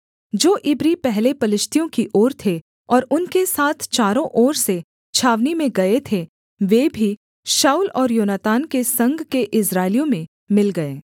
जो इब्री पहले पलिश्तियों की ओर थे और उनके साथ चारों ओर से छावनी में गए थे वे भी शाऊल और योनातान के संग के इस्राएलियों में मिल गए